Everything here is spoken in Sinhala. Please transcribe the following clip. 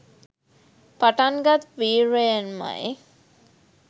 පටන්ගත් වීර්යයෙන්ම යි.